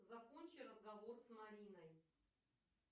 закончи разговор с мариной